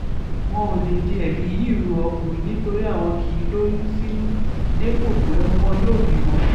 wọn ò lè di ẹbí yìí ru ọkùnrin nítorí àwọn kì í lóyún sínú dépò pé wọn yóò bímọ